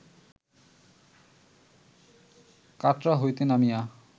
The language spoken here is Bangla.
কাটরা হইতে নামিয়া